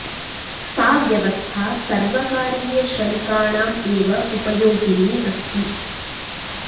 सा व्यवस्था सर्वकारीय श्र मिकाणां एव उपयोगिनी अस्ति